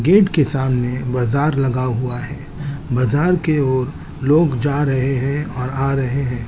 Gate के सामने बाजार लगा हुआ है बाजार के वो लोग जा रहे है और आ रहे है ।